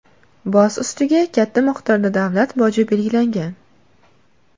Boz ustiga, katta miqdorda davlat boji belgilangan.